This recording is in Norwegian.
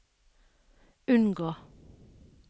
unngå